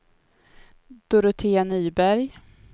Dorotea Nyberg